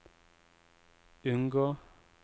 unngå